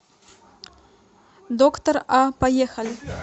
доктор а поехали